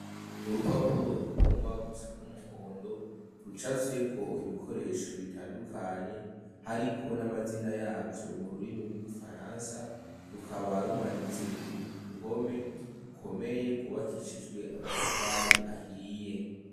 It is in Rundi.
Urupapuro rugomba gusa n'umuhondo, rucafyeko ibikoresho bitandukanye hariko n'amazina yavyo mu rurimi rw'igifaransa, rukaba rumanitse ku ruhome rukomeye rwubakishijwe amatafari ahiye.